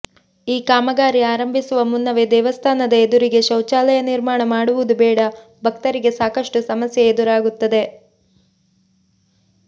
ಈ ಕಾಮಗಾರಿ ಆರಂಭಿಸುವ ಮುನ್ನವೇ ದೇವಸ್ಥಾನ ಎದುರಿಗೆ ಶೌಚಲಯ ನಿರ್ಮಾಣ ಮಾಡುವುದು ಬೇಡ ಭಕ್ತರಿಗೆ ಸಾಕಷ್ಟು ಸಮಸ್ಯೆ ಎದುರಾಗುತ್ತದೆ